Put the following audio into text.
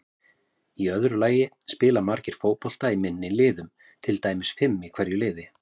Í öðru lagi spila margir fótbolta í minni liðum, til dæmis fimm í hverju liði.